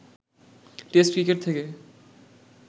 test cricket থেকে